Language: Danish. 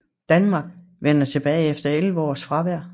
Danmark vendte tilbage efter 11 års fravær